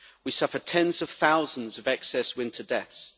We suffered tens of thousands of excess winter deaths.